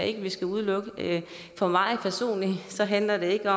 ikke at vi skal udelukke det for mig personligt handler det ikke